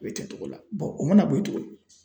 A bɛ kɛ cogo la o mana bɔ ye tuguni